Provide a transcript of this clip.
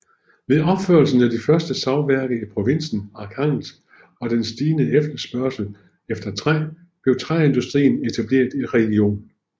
Ved opførelsen af de første savværker i provinsen Arkhangelsk og den stigende efterspørgsel efter træ blev træindustrien etableret i regionen